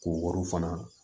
K'o wariw fana